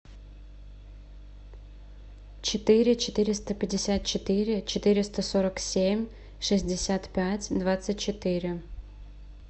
четыре четыреста пятьдесят четыре четыреста сорок семь шестьдесят пять двадцать четыре